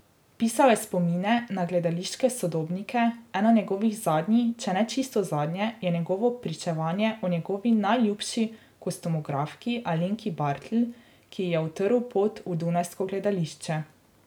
Pisal je spomine na gledališke sodobnike, eno njegovih zadnjih, če ne čisto zadnje, je njegovo pričevanje o njegovi najljubši kostumografki Alenki Bartl, ki ji je utrl pot v dunajsko gledališče.